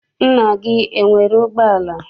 Nna gị enwere ụgbọala?